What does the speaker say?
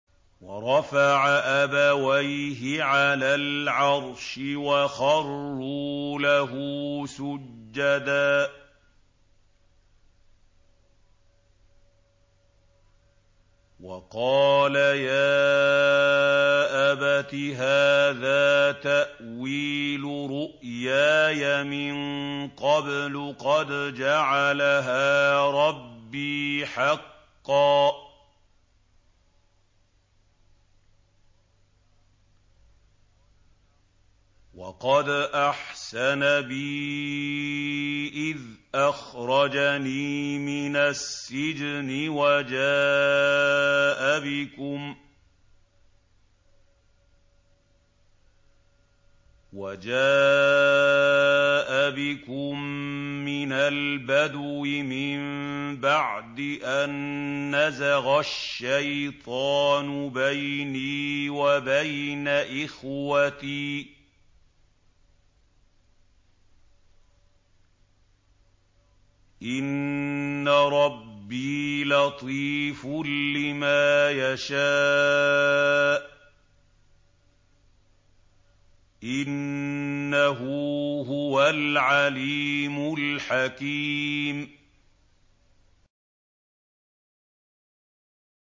وَرَفَعَ أَبَوَيْهِ عَلَى الْعَرْشِ وَخَرُّوا لَهُ سُجَّدًا ۖ وَقَالَ يَا أَبَتِ هَٰذَا تَأْوِيلُ رُؤْيَايَ مِن قَبْلُ قَدْ جَعَلَهَا رَبِّي حَقًّا ۖ وَقَدْ أَحْسَنَ بِي إِذْ أَخْرَجَنِي مِنَ السِّجْنِ وَجَاءَ بِكُم مِّنَ الْبَدْوِ مِن بَعْدِ أَن نَّزَغَ الشَّيْطَانُ بَيْنِي وَبَيْنَ إِخْوَتِي ۚ إِنَّ رَبِّي لَطِيفٌ لِّمَا يَشَاءُ ۚ إِنَّهُ هُوَ الْعَلِيمُ الْحَكِيمُ